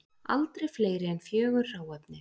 Aldrei fleiri en fjögur hráefni